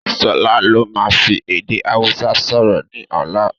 Sọlá máa fi èdè Hausa sọ̀rọ̀ ni ọ̀la